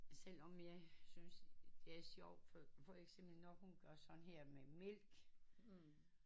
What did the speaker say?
Selvom jeg synes det er sjovt for for eksempel når hun gør sådan her med mælk